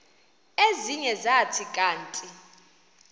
ezinye zathi kanti